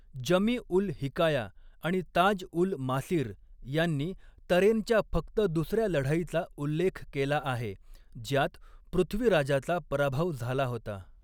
जमी उल हिकाया आणि ताज उल मासीर यांनी तरेनच्या फक्त दुसऱ्या लढाईचा उल्लेख केला आहे, ज्यात पृथ्वीराजाचा पराभव झाला होता.